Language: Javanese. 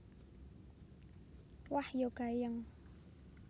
Wah ya gayeng